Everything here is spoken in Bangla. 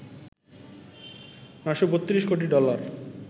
৯৩২ কোটি ডলার